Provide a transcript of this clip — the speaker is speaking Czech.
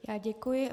Já děkuji.